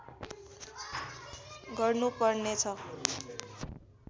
गर्नु पर्ने छ